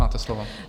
Máte slovo.